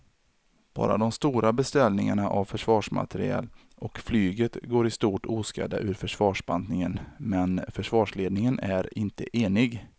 Bara de stora beställningarna av försvarsmateriel och flyget går i stort oskadda ur försvarsbantningen men försvarsledningen är inte enig.